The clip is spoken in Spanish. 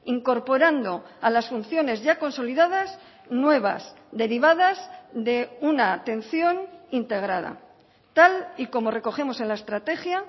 incorporando a las funciones ya consolidadas nuevas derivadas de una atención integrada tal y como recogemos en la estrategia